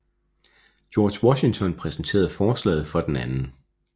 George Washington præsenterede forslaget for den 2